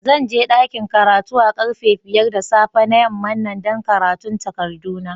Zan je dakin karatu a karfe biyar da safe na yaman nan dan karatun takadu na.